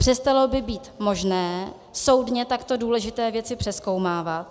Přestalo by být možné soudně takto důležité věci přezkoumávat.